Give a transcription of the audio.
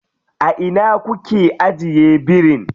A ina kuke ajiye birin?